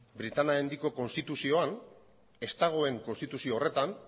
britainia handiko konstituzioan ez dagoen konstituzio horretan